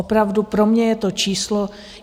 Opravdu pro mě je to číslo...